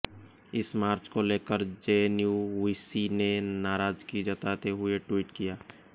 इस मार्च को लेकर जेएनयू वीसी ने नाराजगी जताते हुए ट्वीट किया